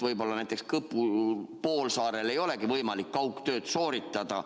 Võib-olla näiteks Kõpu poolsaarel ei olegi võimalik kaugtööd teha.